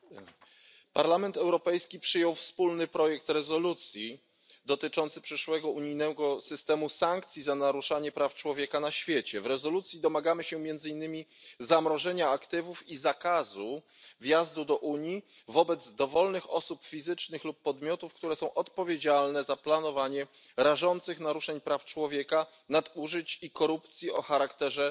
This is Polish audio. Panie Przewodniczący! Parlament Europejski przyjął wspólny projekt rezolucji dotyczący przyszłego unijnego systemu sankcji za naruszanie praw człowieka na świecie. W rezolucji domagamy się między innymi zamrożenia aktywów i zakazu wjazdu do Unii wobec dowolnych osób fizycznych lub podmiotów, które są odpowiedzialne za planowanie rażących naruszeń praw człowieka, nadużyć i korupcji o charakterze